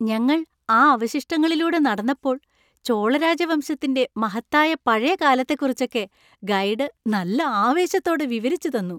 ഞങ്ങൾ ആ അവശിഷ്ടങ്ങളിലൂടെ നടന്നപ്പോൾ ചോള രാജവംശത്തിന്‍റെ മഹത്തായ പഴയ കാലത്തെക്കുറിച്ചൊക്കെ ഗൈഡ് നല്ല ആവേശത്തോടെ വിവരിച്ചു തന്നു.